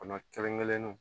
Kɔnɔ kelen kelennu